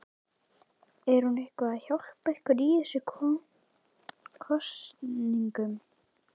Er hún eitthvað að hjálpa ykkur í þessum kosningum?